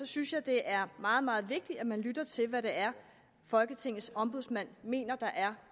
synes jeg det er meget meget vigtigt at man lytter til hvad det er folketingets ombudsmand mener der er